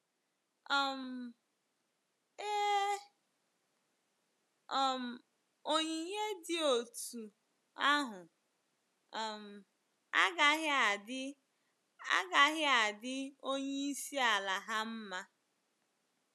um Ee, um onyinye dị otú ahụ um agaghị adị agaghị adị onyeisi ala ha mma.